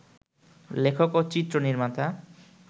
লেখক ও চিত্রনির্মাতা